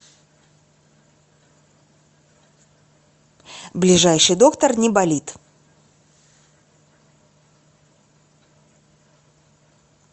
ближайший доктор неболит